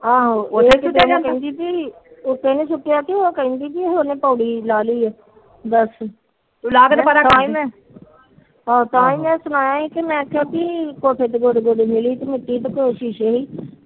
ਆਹੋ ਕਹਿੰਦੀ ਤੀ ਪੋੜੀ ਲਾਲੀ ਹਾ ਤਾਹੀ ਮੈ ਸੁਣਾਇਆ